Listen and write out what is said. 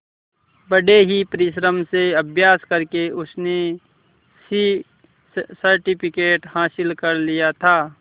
बड़े ही परिश्रम से अभ्यास करके उसने सी सर्टिफिकेट हासिल कर लिया था